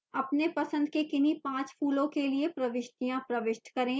अपने पसंद के किन्हीं पाँच फूलों के लिए प्रविष्टियाँ प्रविष्ट करें